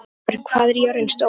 Sveinberg, hvað er jörðin stór?